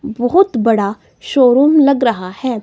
बहोत बड़ा शोरूम लग रहा है।